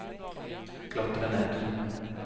klatre ned